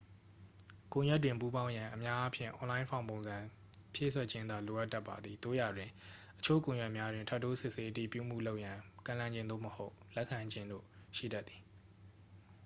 ကွန်ရက်တွင် ပူးပေါင်းရန် အများအားဖြင့် အွန်လိုင်း ဖောင်ပုံစံ ဖြည့်စွက်ခြင်းသာ လိုအပ်တတ်ပါသည် သို့ရာတွင် အချို့ကွန်ရက်များတွင် ထပ်တိုးစစ်ဆေး အတည်ပြုမှု လုပ်ရန် ကမ်းလှမ်းခြင်း သို့မဟုတ် လိုအပ်ခြင်းတို့ ရှိတတ်သည်